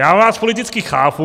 Já vás politicky chápu...